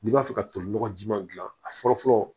N'i b'a fɛ ka toli nɔgɔjima dilan a fɔlɔ fɔlɔ